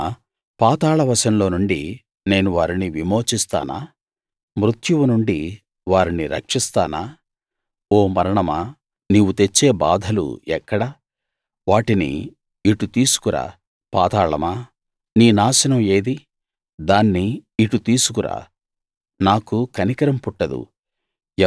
అయినా పాతాళ వశంలో నుండి నేను వారిని విమోచిస్తానా మృత్యువు నుండి వారిని రక్షిస్తానా ఓ మరణమా నీవు తెచ్చే బాధలు ఎక్కడ వాటిని ఇటు తీసుకురా పాతాళమా నీ నాశనం ఏది దాన్ని ఇటు తీసుకురా నాకు కనికరం పుట్టదు